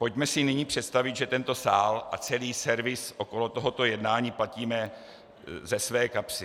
Pojďme si nyní představit, že tento sál a celý servis okolo tohoto jednání platíme ze své kapsy.